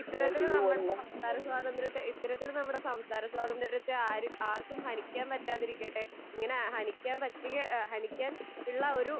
ഇത്തരത്തിൽ നമ്മുടെ സംസാര സ്വാതന്ദ്ര്യത്തെ ഇത്തരത്തിൽ നമ്മുടെ സംസാര സ്വാതന്ദ്ര്യത്തെ ആർ ആർക്കും ഹനിക്കാൻ പറ്റാതിരിക്കട്ടെ. ഇങ്ങനെ ഹനിക്കാൻ പറ്റുക ഹനിക്കാൻ ഉള്ള ഒരു